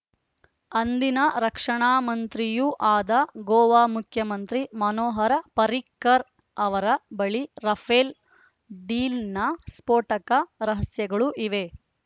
ಅಂದಿನ ರಕ್ಷಣಾ ಮಂತ್ರಿಯೂ ಆದ ಗೋವಾ ಮುಖ್ಯಮಂತ್ರಿ ಮನೋಹರ ಪರ್ರಿಕರ್‌ ಅವರ ಬಳಿ ರಫೇಲ್‌ ಡೀಲ್‌ನ ಸ್ಫೋಟಕ ರಹಸ್ಯಗಳು ಇವೆ